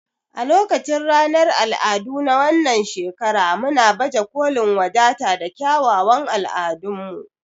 A lokacin ranar al'adu na wannan shekara muna baje kolin wadata da kyawawan al'adunmu.